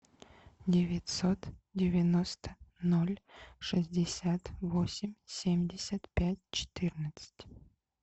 девятьсот девяносто ноль шестьдесят восемь семьдесят пять четырнадцать